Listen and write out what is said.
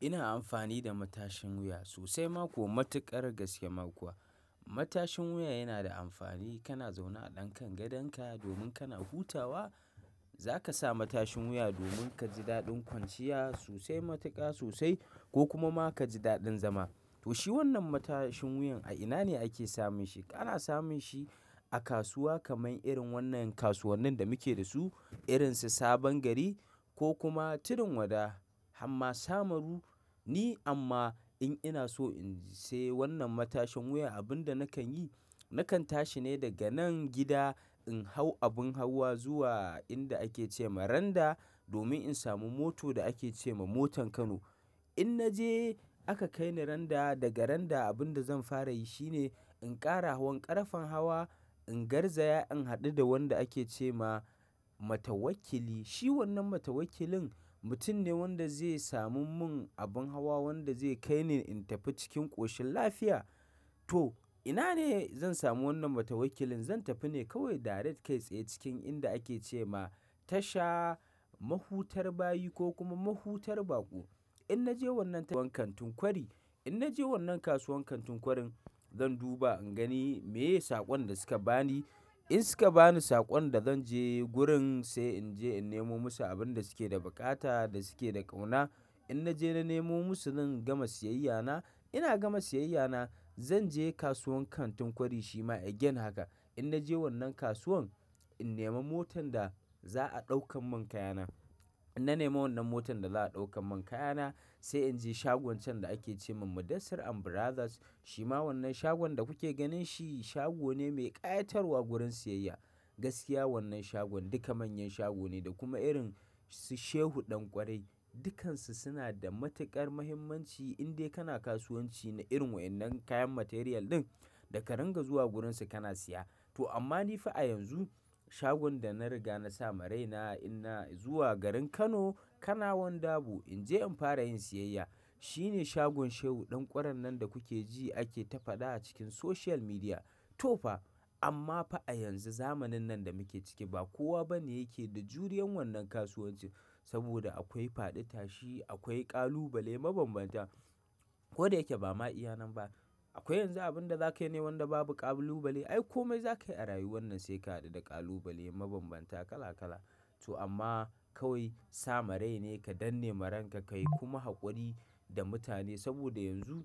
Ina amfani da matashin wuya sosai mako matuƙar gaske makuwa. Matashin wuya yana da amfani, kana zaune a ɗan kan gadonka domin kana hutawa. Za ka sa matashin wuya domin ka ji daɗin kwanciya sosai matuƙa sosai ko kuma ma ka ji daɗin zama. To shi wannan matashin wuyan a ina ne ake samun shi? Kana samun shi a kasuwa kamar irin wannan kasuwannin da muke da su, irin su Sabon Gari ko kuma tudun wada hamma sahmaru ne. Amma in ina so in sayi wannan matashin wuya, abin da nakan yi, nakan tashi ne daga nan gida in hau abin hawa zuwa inda ake ce ma Randa domin in samu mota da ake ce ma motar Kano. In na je aka kai ni Randa, daga Randa abin da zan fara yi shine in ƙara hawan ƙarfen hawa, in garzaya in haɗu da wanda ake ce ma matawakili. Shi wannan matawakilin mutum ne wanda zai sami mun abin hawa wanda zai kai ni in tafi cikin ƙoshin lafiya. To ina ne zan samu wannan matawakilin? Zan tafi ne kawai direct kai tsaye cikin inda ake ce ma Tasha Mahutar Bayi ko kuma Mahutar Baƙo. In na je wannan kantin kwari, in na je wannan kasuwan kantin kwarin zan duba in gani meye saƙon da su ka ba ni. In su ka ba ni saƙon da zan je gurin sai in je in nemo musu abin da su ke da buƙata da su ke da ƙauna. In na je na nemo musu zan gama siyayya na. Ina gama siyayya na zan je kasuwan kantin kwari shi ma again haka in na je wannan kasuwan in nemo motan da za a ɗaukan mun kaya na. In na nemo wannan motan da za a ɗaukan mun kaya na sai in je shagon can da ake ce ma Mudassir and Brothers. Shi ma wannan shagon da kuke ganin shi shago ne mai ƙayatarwa gurin siyayya. Gaskiya wannan shagon duka manyan shago ne da kuma irin su Shehu Ɗan Kwarai dukansu suna da matuƙar muhimmanci in dai kana kasuwanci na irin wa'innan kayan material ɗin da ka ringa zuwa gurinsa kana siya. To amma ni fa a yanzu shagon da na riga na sa ma raina ina zuwa garin Kano, Kanawan Dabo in je in fara yin siyayya shi ne shagon Shehu Ɗan Kwaran nan da kuke ji ake ta faɗa a cikin social media. To fa amma fa a yanzu zamanin nan da muke ciki ba kowa bane yake da juriyan wannan kasuwanci saboda akwai faɗi tashi, akwai ƙalubale mabambanta. Ko da yake ba ma iyyanen ba akwai yanzu abin da za ka yi ne wanda babu ƙalubale. Ai komai za ka yi a rayuwa na sai ka haɗu da ƙalubale mabambanta kala kala. To amma kawai sa ma rai ne ka danne maranka ka yi kuma haƙuri da mutane saboda yanzu